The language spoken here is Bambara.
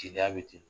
Jeliya bɛ ten